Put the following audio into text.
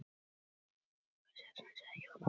Það verða allar dömur glaðar að fá svona vorboð.